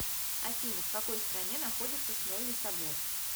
афина в какой стране находится смольный собор